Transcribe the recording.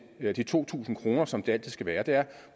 ved de to tusind kr som det altid skal være er